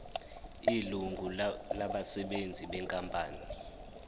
ilungu labasebenzi benkampani